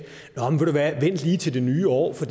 vent lige til det nye år for